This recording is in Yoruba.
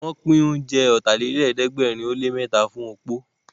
Wọ́n pín oúnjẹ Ọ̀tàlélẹ̀ẹ́dẹ́gbẹ̀rin ó lé mẹ́ta fún opó